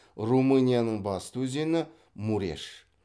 румынияның басты өзені муреш